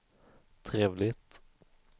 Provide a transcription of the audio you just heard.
trevligt